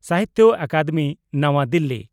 ᱥᱟᱦᱤᱛᱭᱚ ᱟᱠᱟᱫᱮᱢᱤ ᱱᱟᱣᱟ ᱫᱤᱞᱤ